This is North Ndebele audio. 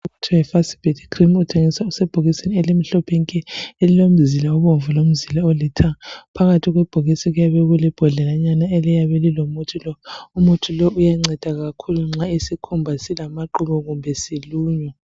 i Fucibet cream ithengiswa isebhokisini elimhlophe nke elilomzila obomvu lomzila olithanga phakathi kwebhokisi kuyabe kulebhodlelanyana eliyabe lilomuthi umuthi lo uyanceda kakhulu nxa isikhumba silamaqubu kumbe siluma